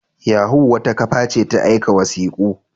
Yahoo wata kafa ce ta aika wasiku.